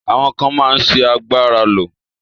Àwọn ká máa sì àgbára ló.